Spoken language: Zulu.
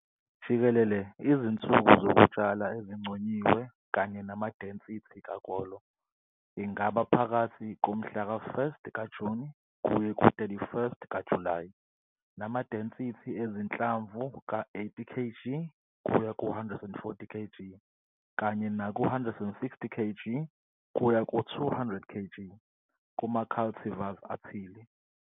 Jikelele, izinsuku zokutshala ezinconyiwe kanye nama-density kakolo ingaba phakathi komhla ka 1st kaJuni kuye ku-31st kaJulayi nama-density ezinhlamvu ka-80 kg kuya ku-140 kg kanye naku-160 kg kuya ku-200 kg, kuma-cultivars athile.